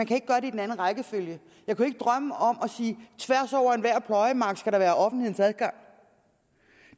kan gøre det i den anden rækkefølge jeg kunne ikke drømme om at tværs over enhver pløjemark skal der være offentlig adgang